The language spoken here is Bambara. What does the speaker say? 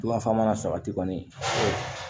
mana sabati kɔni